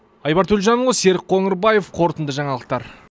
айбар төлжанұлы серік қоңырбаев қорытынды жаңалықтар